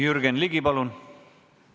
Jürgen Ligi, palun!